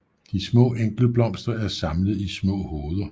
De små enkeltblomster er samlet i små hoveder